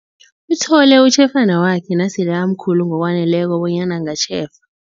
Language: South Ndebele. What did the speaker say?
Uthole utjhefana wakhe nasele amkhulu ngokwaneleko bonyana angatjhefa.